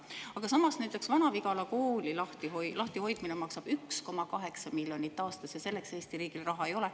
Aga näiteks Vana-Vigala kooli lahtihoidmine maksab 1,8 miljonit aastas ja selleks Eesti riigil raha ei ole.